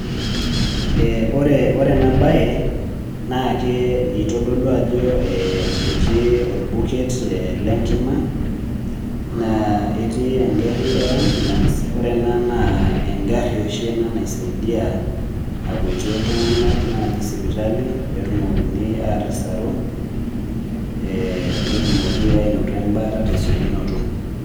Wore ena baye, naa ke itodolu ajo ketii orbuket lenkima, naa ketii enkarri e ambulance. Wore ena naa enkarri oshi ena naisaidia akuatie iltunganak naaji sipitali, peetumokini aatasaru, netumoki ainoto embaata tesekunoto.